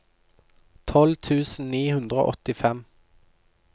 tolv tusen ni hundre og åttifem